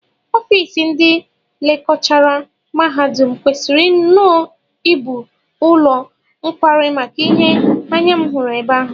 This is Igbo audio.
Ofiisi ndị lekchọra mahadum kwesịrị nnọọ ibu ụlọ nkwari maka ihe anya m hụrụ ebe ahụ